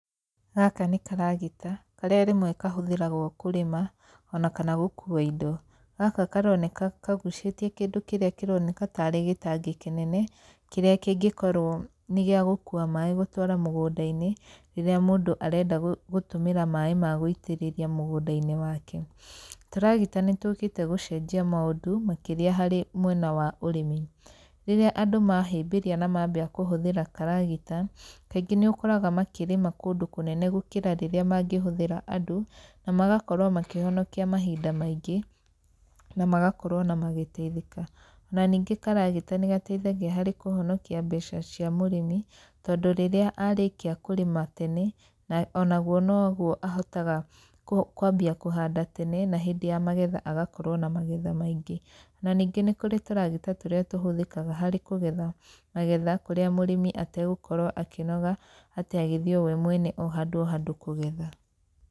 Gaka nĩ karagita, karĩa rĩmwe kahũthĩragwo kũrĩma ona kana gũkuua indo. Gaka karoneka kagucĩtie kĩndũ kĩrĩa kĩroneka tarĩ gĩtangi kĩnene, kĩrĩa kĩngĩkorwo nĩ gĩa gũkuua maĩ gũtwara mũgũnda-inĩ, rĩrĩa mũndũ arenda gũtũmĩra maĩ ma gũitĩrĩria mũgũnda-inĩ wake. Tũragita nĩ tũkĩte gũcenjia maũndũ, makĩria harĩ mwena wa ũrĩmi. Rĩrĩa andũ mahĩmbĩria na mambia kũhũthĩra karagita, kaingĩ nĩ ũkoraga makĩrĩma kũndũ kũnene gũkĩra rĩrĩa mangĩhũthĩra andũ, na magakorwo makĩhonokia mahinda maingĩ na magakorwo ona magĩteithĩka. Na ningĩ karagita nĩ gateithagia harĩ kũhonokia mbeca cia mũrĩmi, tondũ rĩrĩa arĩkia kũrĩma tene na onaguo noguo ahotaga kwambia kũhanda tene na hĩndĩ ya magetha agakorwo na magetha maingĩ. Na ningĩ nĩ kũrĩ tũragita tũrĩa tũhũthĩkaga harĩ kũgetha magetha kũrĩa mũrĩmi ategũkorwo akĩnoga atĩ agĩthiĩ we mwene o handũ o handũ kũgetha.